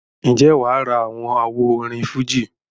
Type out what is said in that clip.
ǹjẹ́ wà á ra àwọn àwo orin fújì?